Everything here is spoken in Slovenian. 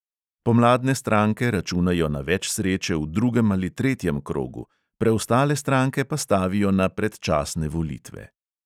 Pomladne stranke računajo na več sreče v drugem ali tretjem krogu, preostale stranke pa stavijo na predčasne volitve.